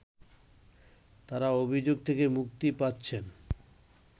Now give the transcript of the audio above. তারা অভিযোগ থেকে মুক্তি পাচ্ছেন